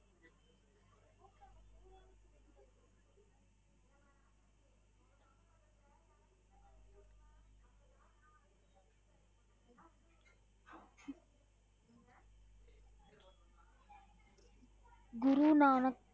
Guru Nanak